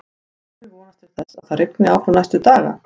Og Gylfi vonast til þess að það rigni áfram næstu daga?